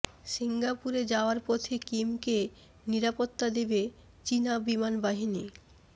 সিঙ্গাপুরে যাওয়ার পথে কিমকে নিরাপত্তা দেবে চীনা বিমান বাহিনী